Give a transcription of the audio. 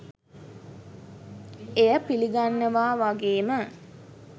එය පිළිගන්නවා වගේම